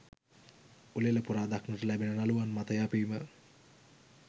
උළෙල පුරා දක්නට ලැබෙන නළුවන් මත යැපීම